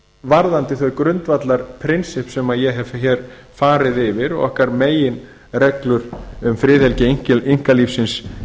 varðandi þau grundvallarprinsipp sem ég hef hér farið yfir okkar meginreglur um friðhelgi einkalífsins